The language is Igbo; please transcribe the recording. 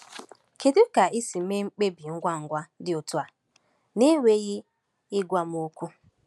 Kedu ka i si mee mkpebi ngwa ngwa dị otu a n’enweghị ịgwa m okwu?”